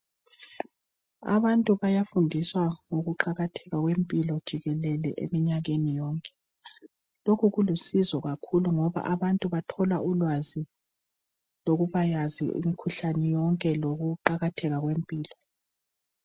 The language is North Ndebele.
Abantu bayafundiswa ngokuqakatheka kwempilo jikelele eminyakeni yonke. Lokhu kulusizo kakhulu ngoba abantu bathola ulwazi lokubakwazi imkhuhlane yonke lokuqakatheka kwempilo.